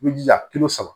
I bɛ jija saba